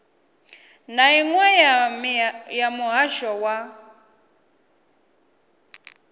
na iṅwe ya muhasho wa